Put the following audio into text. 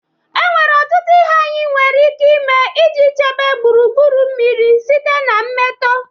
Enwere ọtụtụ ihe anyị nwere ike ime iji chebe gburugburu mmiri site na mmetọ.